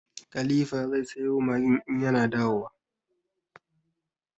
Khalifa zai sayo Maggin in ya na dawowa.